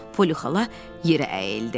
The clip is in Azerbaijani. Poly xala yerə əyildi.